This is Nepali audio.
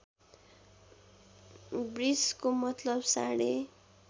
वृषको मतलब साँढे